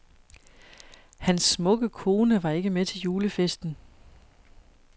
Hans smukke kone var ikke med til julefesten.